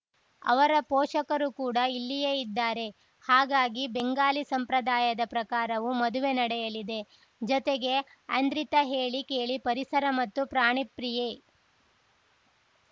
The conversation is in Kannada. ಅವರ ಪೋಷಕರು ಕೂಡ ಇಲ್ಲಿಯೇ ಇದ್ದಾರೆ ಹಾಗಾಗಿ ಬೆಂಗಾಲಿ ಸಂಪ್ರದಾಯದ ಪ್ರಕಾರವೂ ಮದುವೆ ನಡೆಯಲಿದೆ ಜತೆಗೆ ಐಂದ್ರಿತಾ ಹೇಳಿ ಕೇಳಿ ಪರಿಸರ ಮತ್ತು ಪ್ರಾಣಿ ಪ್ರೀಯೆ